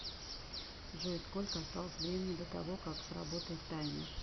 джой сколько осталось времени до того как сработает таймер